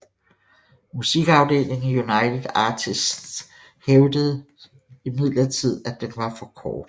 Musikafdelingen i United Artists hævdede imidlertid at den for kort